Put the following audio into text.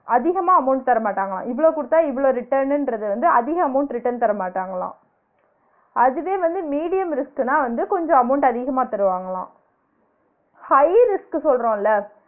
அதிகமா amount தரமாட்டாங்களா இவ்ளோ கொடுத்தா இவ்ளோ return ன்றத வந்து அதிக amount return தரமாட்டாங்களா அதுவே வந்து medium risk ன்னா வந்து கொஞ்ச amount அதிகமா தருவாங்களா high risk சொல்றோம்ல